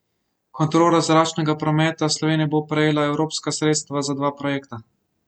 Kontrola zračnega prometa Slovenije bo prejela evropska sredstva za dva projekta.